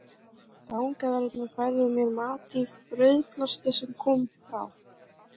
Fangaverðir færðu mér mat í frauðplasti sem kom frá